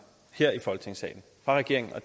her i folketingssalen fra regeringen og